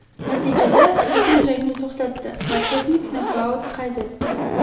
Natijada hakam jangni to‘xtatdi va texnik nokaut qayd etdi.